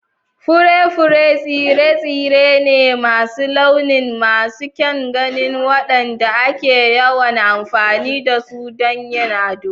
Fure-fure tsire-tsire ne masu launi masu kyan gani waɗanda ake yawan amfani da su don yin ado.